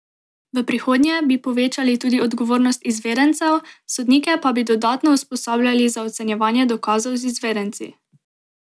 V prihodnje bi povečali tudi odgovornost izvedencev, sodnike pa bi dodatno usposabljali za ocenjevanje dokazov z izvedenci.